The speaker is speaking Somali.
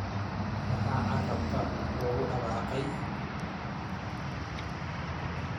Maxaa carrabka loogu dhawaaqay!